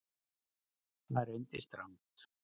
Það reyndist rangt